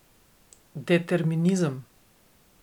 Determinizem!